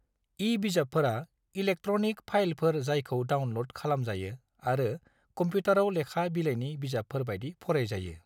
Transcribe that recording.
ई-बिजाबफोरा electronic फाइलफोर जायखौ download खालामजायो आरो कंप्यूटाराव लेखा बिलाइनि बिजाबफोर बायदि फरायजायो।